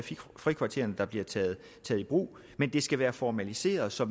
frikvartererne der bliver taget i brug men det skal være formaliseret så